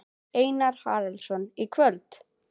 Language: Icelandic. Einar Haraldsson: Í kvöld?